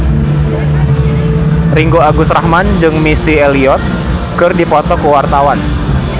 Ringgo Agus Rahman jeung Missy Elliott keur dipoto ku wartawan